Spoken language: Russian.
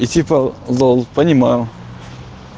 и типо лол понимаю